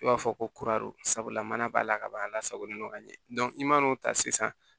I b'a fɔ ko sabula mana b'a la ka ban a la sagolen no ka ɲɛ i man n'o ta sisan